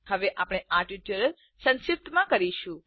હવે આપણે આ ટ્યુટોરીયલ સંક્ષિપ્ત કરીશું